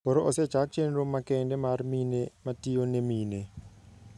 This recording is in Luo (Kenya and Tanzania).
Koro osechak chenro makende mar mine matiyone mine.